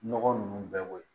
Nɔgɔ nunnu bɛɛ bɔ yen